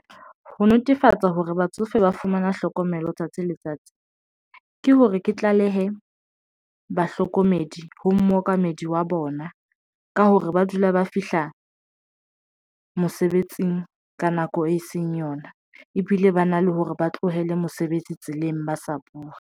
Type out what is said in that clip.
Ho netefatsa hore batsofe ba fumana hlokomelo letsatsi le letsatsi, ke hore ke tlalehe bahlokomedi ho mookamedi wa bona ka hore ba dula ba fihla mosebetsing ka nako e seng yona, ebile ba na le hore ba tlohele mosebetsi tseleng ba sa buwe.